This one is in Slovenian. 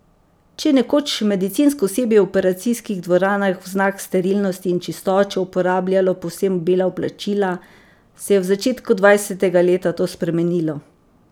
Če je nekoč medicinsko osebje v operacijskih dvoranah v znak sterilnosti in čistoče uporabljalo povsem bela oblačila, se je v začetku dvajsetega leta to spremenilo.